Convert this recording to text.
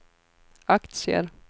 aktier